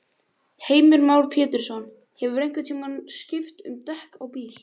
Heimir Már Pétursson: Hefurðu einhvern tímann skipt um dekk á bíl?